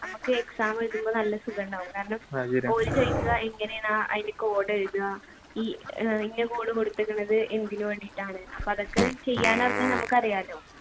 ഞമ്മക്ക് exam എഴുതുമ്പോൾ നല്ല സുഖമുണ്ടാവും കാരണം ഓർ ചോയ്ക്കുക എങ്ങനെയാണ് അതിന്റെ code എഴുതുക ഈ ഇന്ന code കൊടുത്തേക്കണ് എന്തിനു വേണ്ടിയിട്ടാണ് അപ്പോ അതൊക്കെ ചെയ്യാൻ അറിഞ്ഞ നമുക്ക് അറിയാലോ